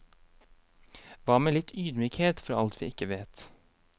Hva med litt ydmykhet for alt vi ikke vet.